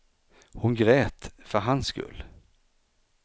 Hon grät, för hans skull.